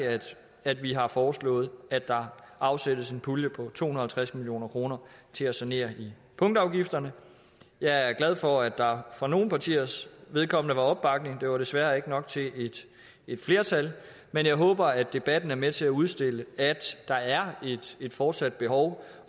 at vi har foreslået at der afsættes en pulje på to hundrede og halvtreds million kroner til at sanere i punktafgifterne jeg er glad for at der for nogle partiers vedkommende var opbakning det var desværre ikke nok til et flertal men jeg håber at debatten er med til at udstille at der er et fortsat behov